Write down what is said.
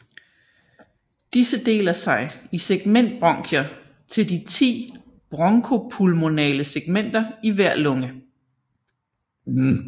Disse deler sig i segmentbronkier til de 10 bronko pulmonale segmenter i hver lunge